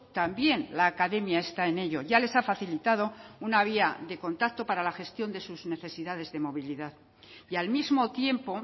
también la academia está en ello ya les ha facilitado una vía de contacto para la gestión de sus necesidades de movilidad y al mismo tiempo